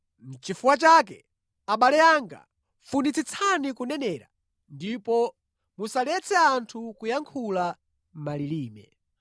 Nʼchifukwa chake, abale anga, funitsitsani kunenera, ndipo musaletse anthu kuyankhula malilime.